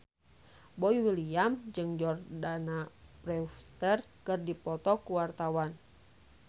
Boy William jeung Jordana Brewster keur dipoto ku wartawan